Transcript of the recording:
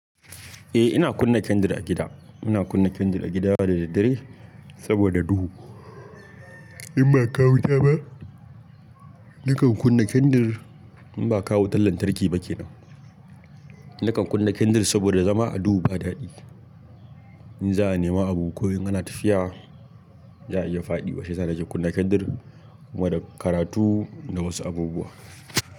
Eh ina kunna candle a gida. Ina kunna candle a gida da daddare saboda duhu. In ba a kawo wuta ba, nakan kunna candle in ba kawo wutan lantarki ba kenan. Nakan kunna candle saboda zama a duhu ba dadi. In za a nema abu ko in kana tafiya za a ya iya fadi. Shi yasa nake kunna candle kuma da karatu da wasu abubuwa.